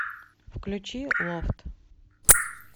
включи лофт